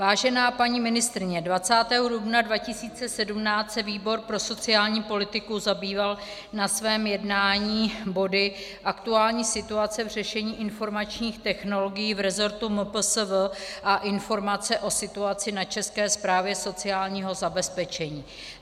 Vážená paní ministryně, 20. dubna 2017 se výbor pro sociální politiku zabýval na svém jednání body aktuální situace v řešení informačních technologií v resortu MPSV a informace o situaci na České správě sociálního zabezpečení.